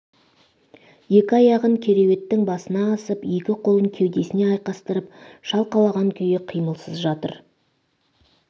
екі аяғын кереуеттің басына асып екі қолын кеудесіне айқастырып шалқалаған күйі қимылсыз жатыр